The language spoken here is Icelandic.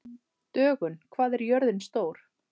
Dögun, hvað er jörðin stór?